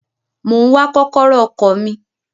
Mo ń wá kọ́kọ́rọ́ ọkọ̀ mi.